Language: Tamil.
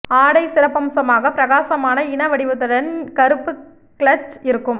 ஆடை சிறப்பம்சமாக பிரகாசமான இன வடிவத்துடன் கருப்பு கிளட்ச் இருக்கும்